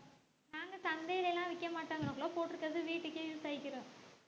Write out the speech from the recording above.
நாங்க சந்தைலைலாம் விக்கமாட்டோம் இங்கனக்குள்ள போட்டு இருக்கிறது வீட்டுக்கே use ஆயிக்கிரும்